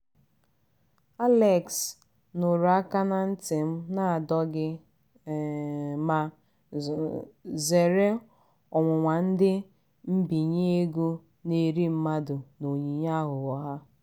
alex nụrụ aka na nti m na-adọ gị um ma zeere ọnwụnwa ndị mbinye ego na-eri mmadụ na onyinye aghụghọ ha.